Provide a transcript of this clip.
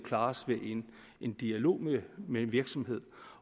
klares ved en dialog med en virksomhed